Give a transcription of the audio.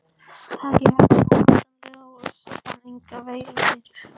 Takið hertist óendanlega og Össur fann enga veilu fyrir.